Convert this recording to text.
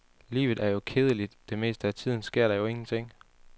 Livet er jo kedeligt, det meste af tiden sker der jo ingenting.